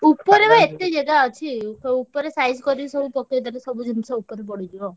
ଉପରେ ବା ଏତେ ଜାଗା ଅଛି। ଉପରେ size କରିକି ସବୁ ପକେଇଦେଲେ ସବୁ ଜିନିଷ ଉପରେ ପଡିଯିବ।